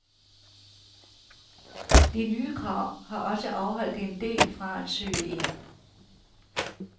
De nye krav har også afholdt en del fra at søge ind.